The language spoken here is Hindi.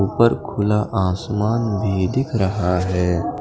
ऊपर खुला आसमान भी दिख रहा है।